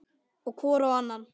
Og hvor á annan.